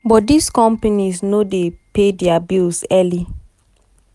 but dis companies no dey pay dia bills early.